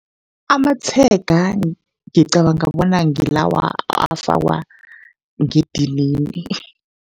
Amatshega ngicabanga bona ngilawa afakwa ngedinini.